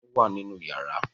Fáànù wà nínú yàrá.